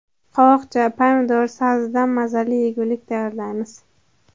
Qovoqcha, pomidor va sabzidan mazali yegulik tayyorlaymiz.